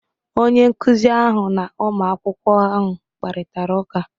Onye nkụzi ahụ na ụmụ akwụkwọ ahụ kparịtara ụka.